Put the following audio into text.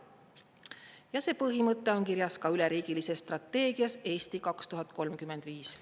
Ja see põhimõte on kirjas ka üleriigilises strateegias "Eesti 2035".